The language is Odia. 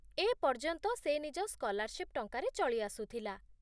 ଏପର୍ଯ୍ୟନ୍ତ ସେ ନିଜ ସ୍କଲାରଶିପ୍ ଟଙ୍କାରେ ଚଳି ଆସୁଥିଲା